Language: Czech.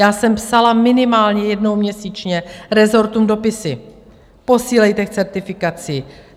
Já jsem psala minimálně jednou měsíčně rezortům dopisy: posílejte k certifikaci.